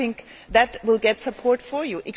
I think that will get support for you.